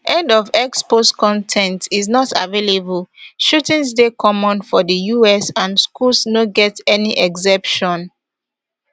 end of x post con ten t is not available shootings dey common for di us and schools no get any exception